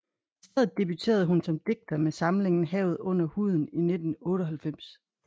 I stedet debuterede han som digter med samlingen Havet under huden i 1998